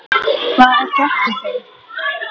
Hvað er gert við þau?